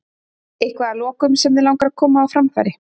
Eitthvað að lokum sem þig langar að koma á framfæri?